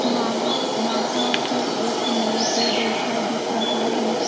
वहाँ वहां पे एक नल के जैसा दिख रहा है।